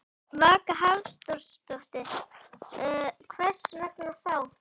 Vaka Hafþórsdóttir: Hvers vegna þá?